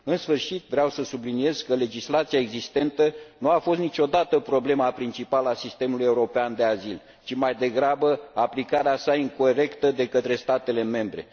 În sfârșit, vreau să subliniez că legislația existentă nu a fost niciodată problema principală a sistemului european de azil, ci, mai degrabă, aplicarea sa incorectă de către statele membre.